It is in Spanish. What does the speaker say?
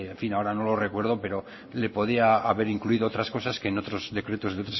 fin ahora no lo recuerdo pero le podía haber incluido otras cosas que en otros decretos de